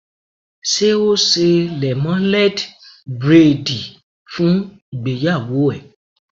Ṣé ó ṣe lẹ́móléd bréèdì fún ìgbéyàwó ẹ̀?